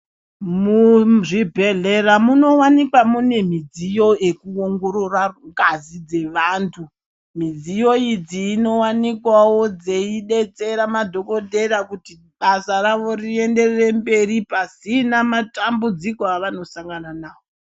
Mu zvibhehlera muno wanikwa mune midziyo yeku ongorora ngazi dze vantu midziyo idzi dzino wanikwawo dzei detsera madhokotera kuti basa rienderere mberi pasina matambudziko avano sangana navo.